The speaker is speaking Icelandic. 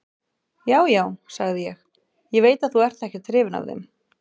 Já, já, sagði ég, ég veit að þú ert ekkert hrifinn af þeim.